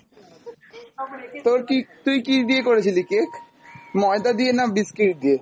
তোর কী, তুই কী দিয়ে করেছিলি cake? মইদা দিয়ে না biscuit দিয়ে?